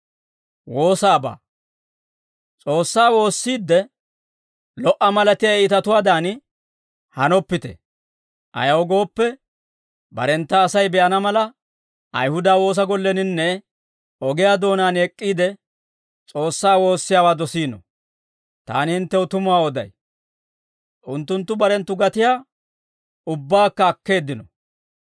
«S'oossaa woossiidde, lo"a malatiyaa iitatuwaadan hanoppite; ayaw gooppe, barentta Asay be'ana mala, Ayihuda woosa golleninne ogiyaa doonaan ek'k'iide, S'oossaa woossiyaawaa dosiino; taani hinttew tumuwaa oday; unttunttu barenttu gatiyaa ubbaakka akkeeddino.